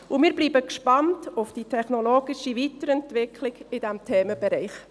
Und wir bleiben gespannt auf die technologische Weiterentwicklung in diesem Themenbereich.